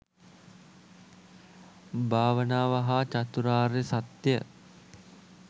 භාවනාව හා චතුරාර්ය සත්‍ය